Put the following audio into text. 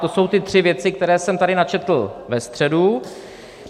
To jsou ty tři věci, které jsem tady načetl ve středu.